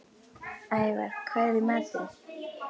Ævarr, hvað er í matinn?